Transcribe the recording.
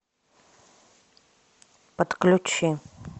подключи